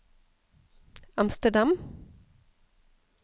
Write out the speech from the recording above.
Amsterdam